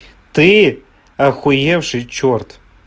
ты ахуевший чёрт